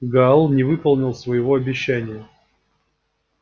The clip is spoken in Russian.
гаал не выполнил своего обещания